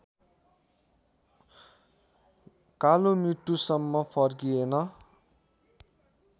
कालो मृत्युसम्म फर्किएन